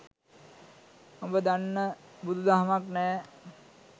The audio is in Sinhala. උඹ දන්න බුදු දහමක් නෑ